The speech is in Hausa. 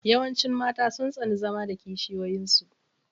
Yawancin mata sun tsani zama da kishiyoyin su.